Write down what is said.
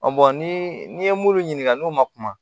bɔn ni ye munnu ɲininka n'o ma kuma